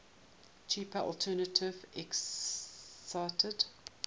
cheaper alternative existed